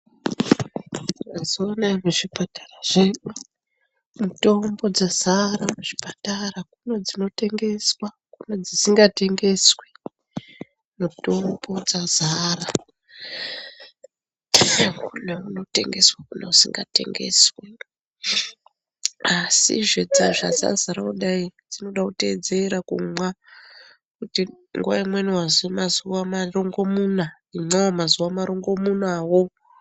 Mazuva anaya muzvipatara zvedu mitombo yazara kuzvipatara kune dzinotengeswa kune dzisingatengeswi mitombo dzazara kune unotengeswa kune usinga tengeswi asii zvee dzazara kudai dzinoda kuteedzera kumwa kuti nguva imweni wazi imwa mazuva rongomunya imwa mazuva rongomunya woo.